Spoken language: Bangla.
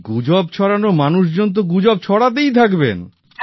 এই গুজব ছড়ানোর মানুষজন তো গুজব ছড়াতেই থাকবেন